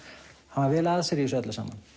hann var vel að sér í þessu öllu saman